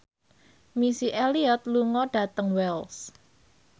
Missy Elliott lunga dhateng Wells